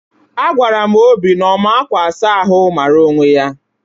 A gwara m Obi na ọma akwa asa ahụ, mara onwe ya!